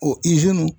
O